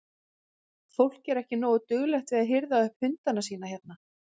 Fólk er ekki nógu duglegt við að hirða upp eftir hundana sína hérna?